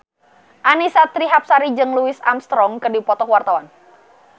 Annisa Trihapsari jeung Louis Armstrong keur dipoto ku wartawan